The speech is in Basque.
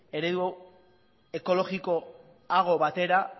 eredu ekologikoago batera